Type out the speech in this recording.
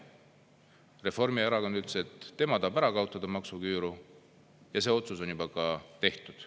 Reformierakond ütles, et tema tahab ära kaotada maksuküüru, ja see otsus on juba ka tehtud.